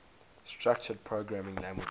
structured programming languages